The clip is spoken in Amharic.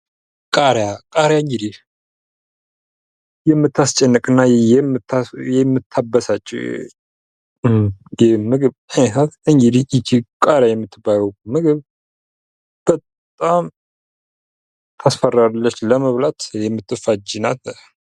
ቃሪያ ። ቃሪያ እንግዲህ የምታስጨንቅ እና የምታበሳጭ የምግብ አይነት ናት እንግዲህ ይቺ ቃሪያ የምትባለው ምግብ በጣም ታስፈራለች ለመብላት የምትፋጅ ናት ።